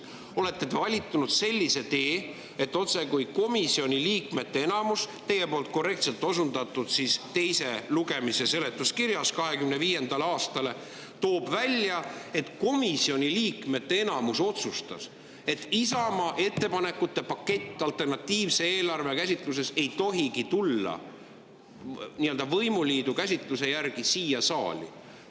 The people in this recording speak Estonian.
Te olete valinud sellise tee, et otsekui komisjoni liikmete enamus otsustas – teie poolt korrektselt osundatud 2025. aasta teise lugemise seletuskiri toob selle välja –, et Isamaa alternatiivne eelarve ettepanekute paketi näol ei tohigi tulla võimuliidu käsitluse järgi siia saali.